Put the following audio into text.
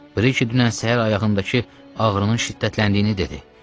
Brije dünən səhər ayağındakı ağrının şiddətləndiyini dedi.